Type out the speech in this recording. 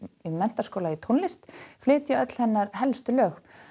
Menntaskóla í tónlist flytja öll hennar helstu lög